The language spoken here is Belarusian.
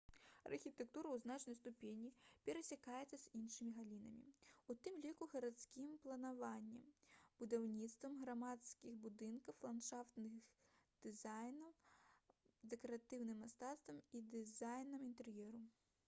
архітэктура ў значнай ступені перасякаецца з іншымі галінамі у тым ліку гарадскім планаваннем будаўніцтвам грамадзянскіх будынкаў ландшафтным дызайнам дэкаратыўным мастацтвам і дызайнам інтэр'еру